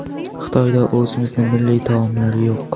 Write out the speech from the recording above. Xitoyda o‘zimizni milliy taomlar yo‘q.